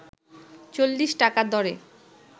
৪০ টাকা দরে